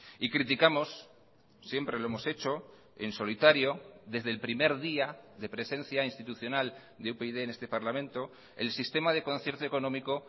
y criticamos siempre lo hemos hecho en solitario desde el primer día de presencia institucional de upyd en este parlamento el sistema de concierto económico